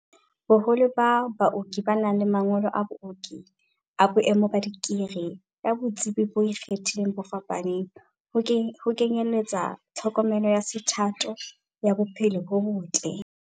Boholo ba baoki ba na le mangolo a booki a boemo ba dikri, ka botsebi bo ikgethileng bo fapaneng, ho kenyeletsa tlhokomelo ya sethatho ya bo phelo bo botle.